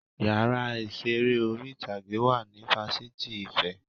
Yàrá ìṣeré orí ìtàgé wà ní Fáṣitì ìfẹ́